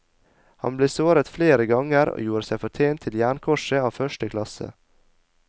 Han ble såret flere ganger og gjorde seg fortjent til jernkorset av første klasse.